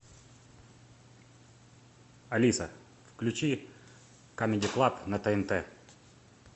алиса включи камеди клаб на тнт